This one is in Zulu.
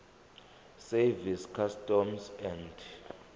service customs and